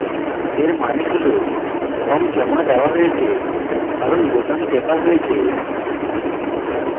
এর মানে has form জমা দেওয়া হয়েছে কারণ বোতাম টেপা হয়েছে